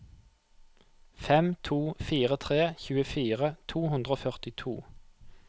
fem to fire tre tjuefire to hundre og førtito